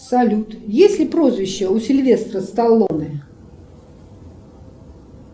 салют есть ли прозвище у сильвестра сталлоне